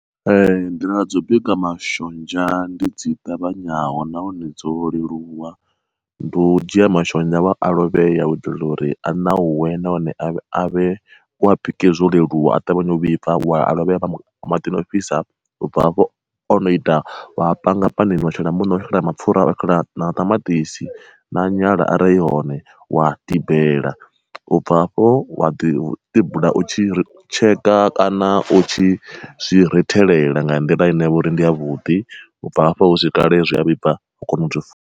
Ee nḓila dzo bika mashonzha ndi dzi ṱavhanyaho nahone dzo leluwa. Ndi u dzhia mashonzha wa a lovhe ya u itela uri a ṋauwe nahone avhe a vhe u wa bike zwo leluwa a ṱavhanya u vhibva wa a lovhea maḓini ofhisa u bva hafho ono ita wa panga panini wa shela muṋo wa shela mapfura na maṱamaṱisi na nyala arali i hone wa tambela, ubva hafho wa ḓi tibula u tshi tsheka kana u tshi zwi rithelela nga nḓila ine vha uri ndi ya vhuḓi u bva hafho zwi a vhibva wa kona uzwi fula.